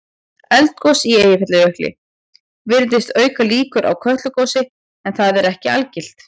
Eldgos í Eyjafjallajökli virðist auka líkur á Kötlugosi en það er ekki algilt.